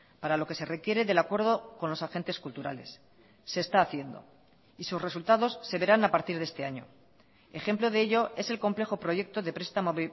para lo que se requiere del acuerdo con los agentes culturales se está haciendo y sus resultados se verán a partir de este año ejemplo de ello es el complejo proyecto de prestamo